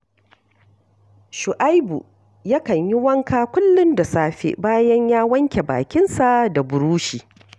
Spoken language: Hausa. Shu’aibu yakan yi wanka kullum da safe bayan ya wanke bakinsa da burushi